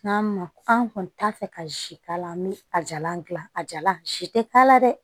N'a ma an kɔni t'a fɛ ka zi k'a la an bi a jalan gilan a jala si tɛ k'a la dɛ